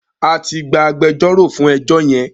A ti gba agbẹjọ́rò fún ẹjọ́ yẹn.